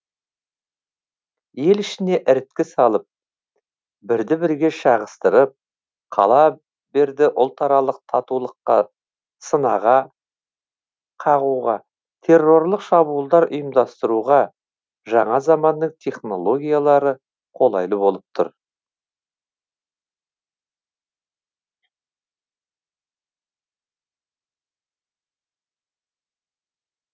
ел ішіне іріткі салып бірді бірге шағыстырып қала берді ұлтаралық татулыққа сынаға қағуға террорлық шабуылдар ұйымдастыруға жаңа заманның технологиялары қолайлы болып тұр